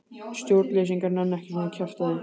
Stjórnleysingjar nenna ekki svona kjaftæði.